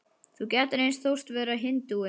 Þú gætir eins þóst vera hindúi.